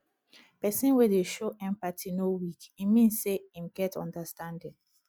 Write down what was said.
pesin wey dey show empathy no weak e mean sey em get understanding